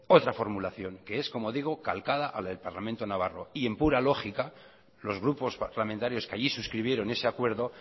otra formulación que es como digo calcada a la del parlamento navarro y en pura lógica los grupos parlamentarios que allí suscribieron ese acuerdo